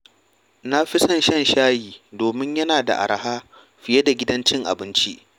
Na fi son shan shayi domin yana da araha fiye da gidajen cin abinci.